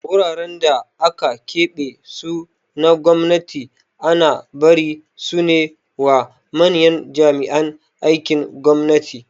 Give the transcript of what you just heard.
Wuraren da aka keɓe su na gwamnati ana barin sune wa manyan jami'an aikin gwamnati